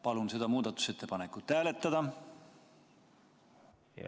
Palun seda muudatusettepanekut hääletada!